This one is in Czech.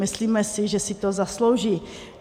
Myslíme si, že si to zaslouží.